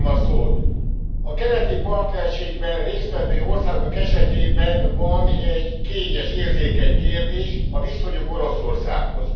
A keleti partnerségben részt vevő országok esetében van egy kényes, érzékeny kérdés a viszonyuk Oroszországhoz.